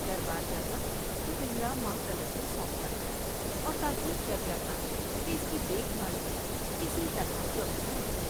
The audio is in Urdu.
در بار جاتا تو پنجرہ ماہ طلعت کو سونپ جاتا اور تاکید کر جا تا کہ اس کی دیکھ بھال میں کسی طرح کمی نہ ہو ۔